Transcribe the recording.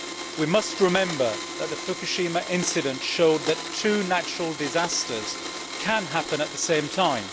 We must remember that the Fukushima incident showed that two natural disasters can happen at the same time.